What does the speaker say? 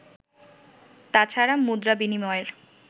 তাছাড়া মুদ্রা বিনিময়ের